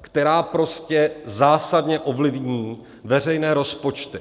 která prostě zásadně ovlivní veřejné rozpočty.